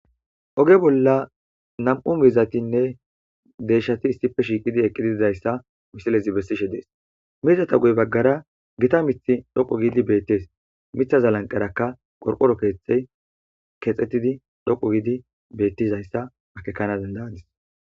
Oge bola namu mizatine deyishati issippe eqidi shiqiddi dizayissa misilezi beesishe dessi mizata bagara gita miiththi dhoqu gidi beteesi miththaza guyerakka laniqeerakka qoriqoro keththeyi dhoqu gidi betizayisa